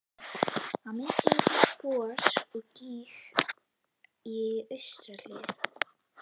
Á myndinni sést gos úr gíg í austurhlíð